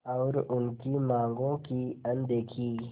और उनकी मांगों की अनदेखी